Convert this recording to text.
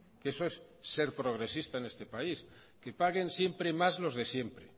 que eso es ser progresista en este país que paguen siempre más los de siempre